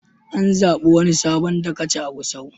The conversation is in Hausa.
An zaɓi wani sabon dagaci a Gusau.